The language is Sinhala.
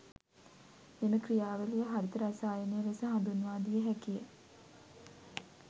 මෙම ක්‍රියා වලිය හරිත රසායනය ලෙස හඳුන්වා දිය හැකිය.